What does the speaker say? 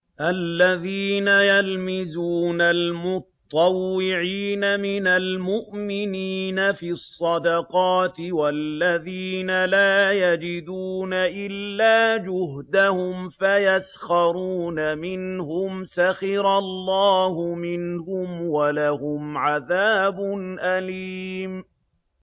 الَّذِينَ يَلْمِزُونَ الْمُطَّوِّعِينَ مِنَ الْمُؤْمِنِينَ فِي الصَّدَقَاتِ وَالَّذِينَ لَا يَجِدُونَ إِلَّا جُهْدَهُمْ فَيَسْخَرُونَ مِنْهُمْ ۙ سَخِرَ اللَّهُ مِنْهُمْ وَلَهُمْ عَذَابٌ أَلِيمٌ